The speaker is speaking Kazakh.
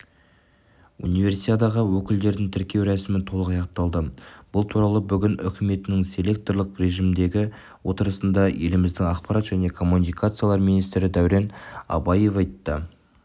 универсиадаға өкілдерін тіркеу рәсімі толық аяқталды бұл туралы бүгін үкіметінің селекторлық режімдегі отырысында еліміздің ақпарат және коммуникациялар министрі дәурен абаевайтты